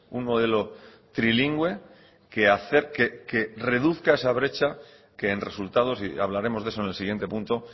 un modelo trilingüe que acerque que reduzca esa brecha que en resultados y hablaremos de eso en el siguiente punto